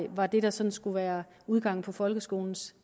var det der sådan skulle være udgangen på folkeskolens